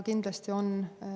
Kindlasti on see meie huvides.